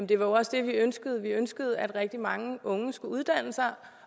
det var også det vi ønskede vi ønskede at rigtig mange unge skulle uddanne sig